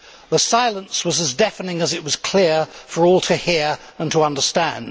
The silence was as deafening as it was clear for all to hear and to understand.